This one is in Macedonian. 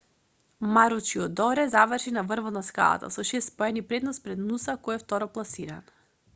маручидоре заврши на врвот на скалата со шест поени предност пред нуса кој е второпласиран